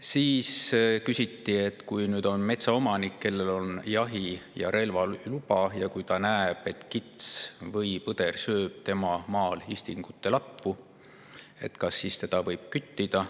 Siis küsiti, et kui metsaomanik, kellel on jahi‑ ja relvaluba, näeb, et kits või põder sööb tema maal istikute latvu, kas ta siis võib seda küttida.